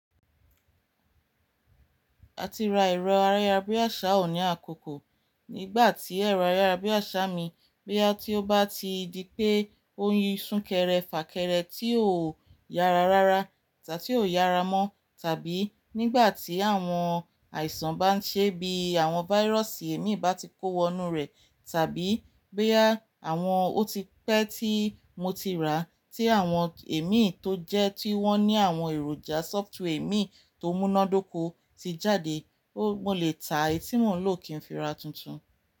A ti ra ẹ̀rọ ayárabíàṣá ò ní àkókò. Nígbà tí ẹ̀rọ ayárabíàṣá mi bóyá tí ó bá ti di pé on yi sunkẹ́rẹ́ fà kẹ́rẹ́ tí ò yára rárá tàbí ò yára mọ́, tàbí nígbà tí àwọn àìsàn bá ń ṣẹ́ bí àwọn váírọ̀sì ẹ̀mí bá ti kó wọnú rẹ̀, tàbí bóyá àwọn ó ti pẹ́ tí mo ti rà tí àwọn ẹ̀mí tó jẹ́ tí wọ́n ní àwọn èròjà sófútúwẹ̀ẹ̀mí tó múnádóko ti jáde, mo lè ta èyí tí mò ń lò kí n fi ra tuntun.